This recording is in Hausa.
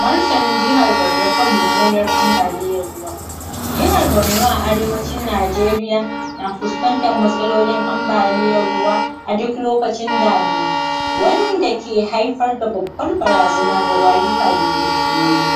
martanin jihar barno kan mummunar ambaliyan ruwa jihar barno a arewacin najeriya na fuskan tar matsalo, lin ambaliyan ruwa duk lokacin damina wanda ke Haifar da babbar barazana ga rayuka da dukiyoyi